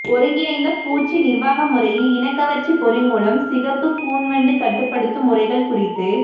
ஒருங்கிணைந்த பூச்சி நிா்வாக முறையில் இனக்கவா்ச்சி பொறி மூலம் சிகப்பு கூன் வண்டு கட்டுப்படுத்தும் முறைகள் குறித்து